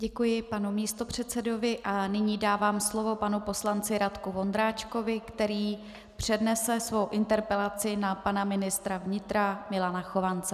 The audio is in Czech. Děkuji panu místopředsedovi a nyní dávám slovo panu poslanci Radku Vondráčkovi, který přednese svou interpelaci na pana ministra vnitra Milana Chovance.